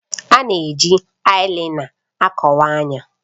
A na-eji ayilaina akọwa anya.